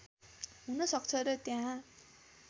हुन सक्छ र त्यहाँ